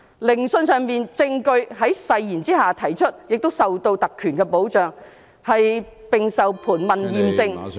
聆訊上的證據在誓言下提出，受特權保障，並受盤問驗證。